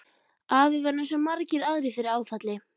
Afi varð eins og svo margir aðrir fyrir áfalli.